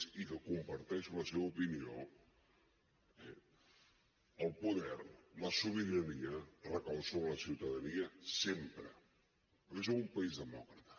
i que comparteixo la seva opinió eh el poder la sobirania recau sobre la ciutadania sempre perquè som un país demòcrata